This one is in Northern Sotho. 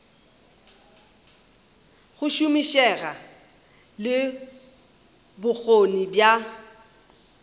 go šomišega le bokgoni bja